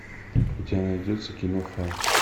у тебя найдется кино фарт